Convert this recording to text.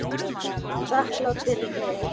Þakklát fyrir þig.